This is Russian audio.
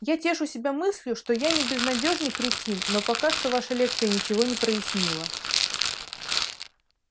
я тешу себя мыслью что я не безнадёжный кретин но пока что ваша лекция ничего не прояснила